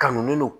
Kanu do